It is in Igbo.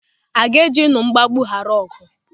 A ga-ejinu mgbagbu ghara ọgụ?